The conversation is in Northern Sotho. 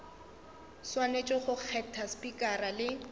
swanetše go kgetha spikara le